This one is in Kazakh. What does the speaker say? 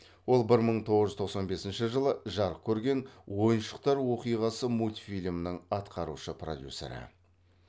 ол бір мың тоғыз жүз тоқсан бесінші жылы жарық көрген ойыншықтар оқиғасы мультфильмнің атқараушы продюсері